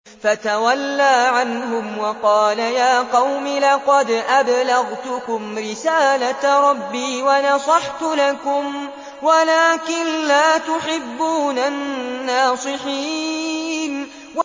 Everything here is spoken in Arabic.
فَتَوَلَّىٰ عَنْهُمْ وَقَالَ يَا قَوْمِ لَقَدْ أَبْلَغْتُكُمْ رِسَالَةَ رَبِّي وَنَصَحْتُ لَكُمْ وَلَٰكِن لَّا تُحِبُّونَ النَّاصِحِينَ